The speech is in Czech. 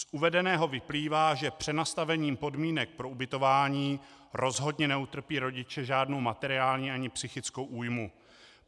Z uvedeného vyplývá, že přenastavením podmínek pro ubytování rozhodně neutrpí rodiče žádnou materiální ani psychickou újmu.